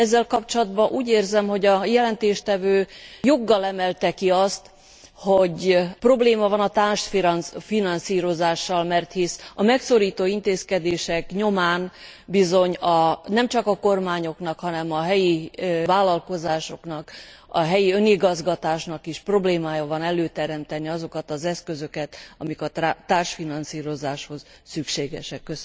Ezzel kapcsolatban úgy érzem, hogy a jelentéstevő joggal emelte ki azt, hogy probléma van a társfinanszírozással, mert hisz a megszorító intézkedések nyomán bizony nemcsak a kormányoknak, hanem a helyi vállalkozásoknak, a helyi önigazgatásnak is problémája van előteremteni azokat az eszközöket, amik a társfinanszírozáshoz szükségesek.